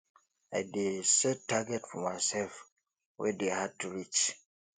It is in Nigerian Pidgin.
i dey set target for myself wey dey hard to reach